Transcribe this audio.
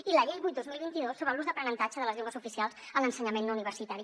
i la llei vuit dos mil vint dos sobre l’ús d’aprenentatge de les llengües oficials en l’ensenyament no universitari